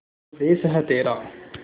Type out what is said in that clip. स्वदेस है तेरा